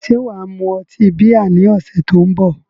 Ṣé wà á mu ọtí bíà ní ọ̀sẹ̀ tó ń bọ̀?